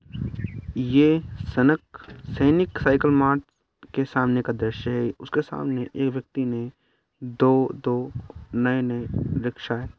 ये सनक सैनिक साइकिल मार्ट के सामने का दृश्य है उसके सामने एक व्यक्ति ने दो दो नई नई रिक्शाएं --